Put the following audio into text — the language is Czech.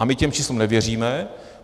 A my těm číslům nevěříme.